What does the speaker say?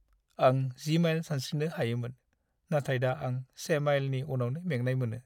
आं 10 माइल सानस्रिनो हायोमोन, नाथाय दा आं 1 माइलनि उनावनो मेंनाय मोनो।